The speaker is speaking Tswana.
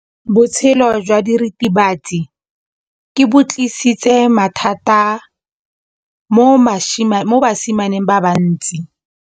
Botshelo jwa diritibatsi ke bo tlisitse mathata mo basimaneng ba bantsi.